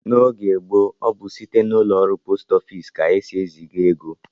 N'oge gboo, ọ bụ site n'ụlọọrụ post ofiisi ka e si eziga ego